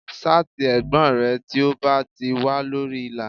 Ṣáàtì ẹ̀gbọ́n rẹ tí ó bá ti wà lórí ìlà